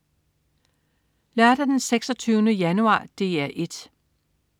Lørdag den 26. januar - DR 1: